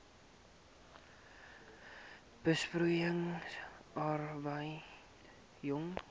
besproeiing arbeid jong